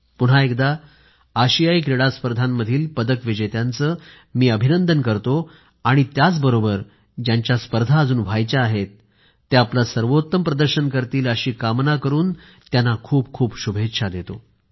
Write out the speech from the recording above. पुन्हा एकदा मी अशियाई क्रीडा स्पर्धेमधल्या पदक विजेत्यांचे अभिनंदन करतो आणि त्याचबरोबर ज्यांच्या स्पर्धा अजून व्हायच्या आहेत ते आपलं सर्वोत्तम प्रदर्शन करतील अशी कामना करून त्यांना खूपखूप शुभेच्छा देतो